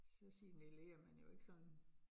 Så signalerer man jo ikke sådan